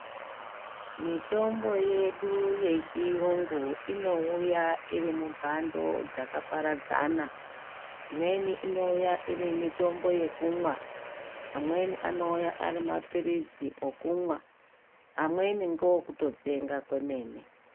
Mitombo yedu yechiyungu inouya irimumhando dzakaparadzana imweni inouya iri mitombo yekumwa amweni anouya ari mapirizi okumwa amweni ngookutotsenga kwemene.